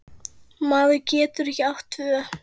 Maður getur ekki átt tvö